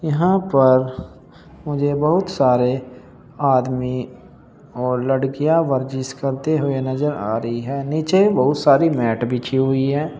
यहां पर मुझे बहुत सारे आदमी और लड़कियां वर्जिश करते हुए नजर आ रही हैं नीचे बहुत सारी मैट बिछी हुई है।